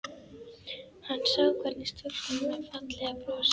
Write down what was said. Hann sá hvergi stúlkuna með fallega brosið.